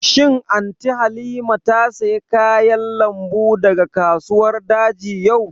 Shin Anty Halima ta saya kayan lambu daga kasuwar daji yau?